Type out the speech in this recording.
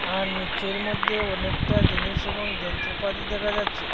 আর নীচের মধ্যে অনেকটা জিনিস এবং যন্ত্রপাতি দেখা যাচ্ছে।